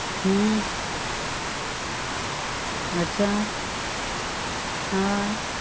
હા અચ્છા હા